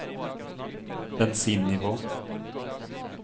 bensinnivå